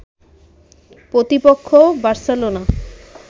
প্রতিপক্ষ বার্সেলোনা